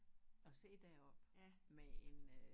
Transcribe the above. Og sidde deroppe med en øh